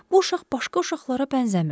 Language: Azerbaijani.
Bu uşaq başqa uşaqlara bənzəmirdi.